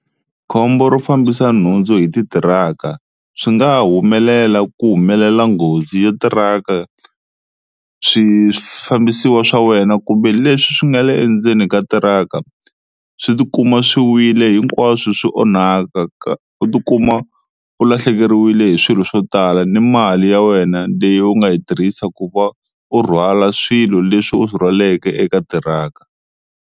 Khombo ro fambisa nhundzu hi titiraka swi nga humelela ku humelela nghozi ya tiraka swifambiwa swa wena kumbe leswi swi nga le endzeni ka tiraka, swi ti kuma swi wile hinkwaswo swi onhaka ka u tikuma u lahlekeriwile hi swilo swo tala ni mali ya wena leyi u nga yi tirhisa ku va u rhwala swilo leswi u swi rhwaleke eka tiraka.